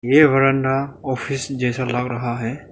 ये बरामदा ऑफिस जैसा लग रहा है।